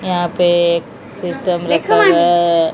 यहां पे एक सिस्टम रखा गया है।